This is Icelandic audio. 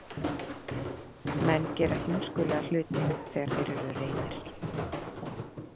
Menn gera heimskulega hluti þegar þeir eru reiðir.